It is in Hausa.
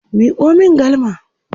Miko min galma!